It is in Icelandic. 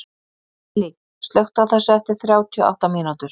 Lilly, slökktu á þessu eftir þrjátíu og átta mínútur.